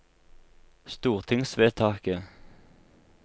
stortingsvedtaket